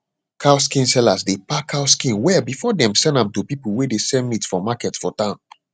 cow skin sellers dey pack cow skin well before dem send am to pipu wey dey sell meat for market for town